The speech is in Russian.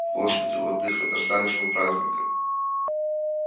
господи владыко дождались мы праздника